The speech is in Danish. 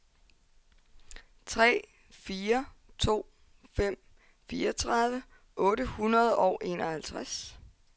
tre fire to fem fireogtredive otte hundrede og enoghalvtreds